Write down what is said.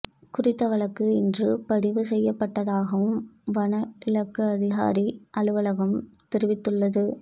குறித்த வழக்கு இன்று பதிவு செய்யப்பட்டதாகவும் வன இலாக்கா அதிகாரி அலுவலகம் தெரிவித்துள்ளது